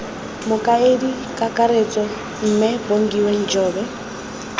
mokaedi kakaretso mme bongiwe njobe